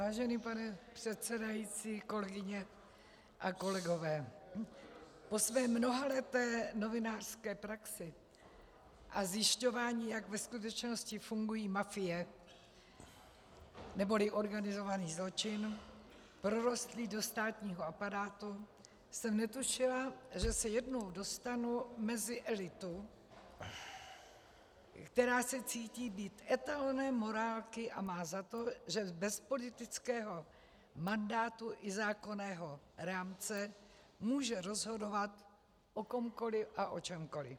Vážený pane předsedající, kolegyně a kolegové, po své mnohaleté novinářské praxi a zjišťování, jak ve skutečnosti fungují mafie neboli organizovaný zločin prorostlý do státního aparátu, jsem netušila, že se jednou dostanu mezi elitu, která se cítí být etalonem morálky a má za to, že bez politického mandátu i zákonného rámce může rozhodovat o komkoli a o čemkoli.